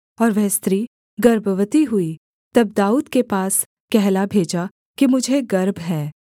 और वह स्त्री गर्भवती हुई तब दाऊद के पास कहला भेजा कि मुझे गर्भ है